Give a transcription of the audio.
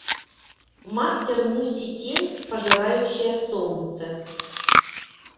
мастер муси тень пожирающая солнце